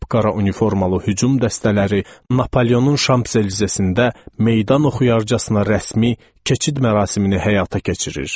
Qapqara uniformallı hücum dəstələri Napoleonun şam sezesində meydan oxuyarcasına rəsmi keçid mərasimini həyata keçirir.